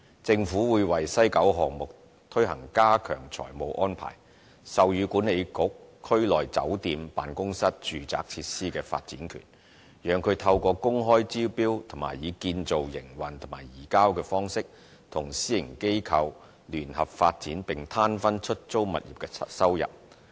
政府會為西九項目推行加強財務安排，授予西九文化區管理局區內酒店/辦公室/住宅設施的發展權，讓它透過公開招標及以"建造、營運及移交"方式，與私營機構聯合發展並攤分出租物業的收入。